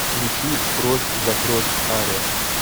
включи кровь за кровь ария